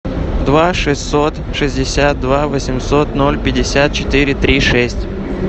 два шестьсот шестьдесят два восемьсот ноль пятьдесят четыре три шесть